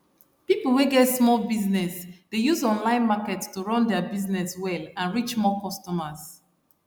people wey get small business dey use online market to run their business well and reach more customers